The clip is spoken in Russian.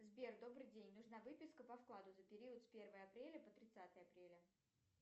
сбер добрый день нужна выписка по вкладу за период с первого апреля по тридцатое апреля